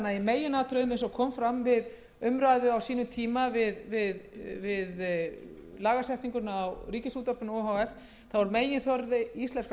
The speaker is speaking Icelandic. sjö krónur eins og kom fram við umræðuna á sínum tíma um lagasetninguna á ríkisútvarpinu o h f mun því meginþorri íslenskra